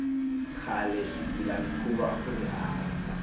khale swigilamikhuva akuri hava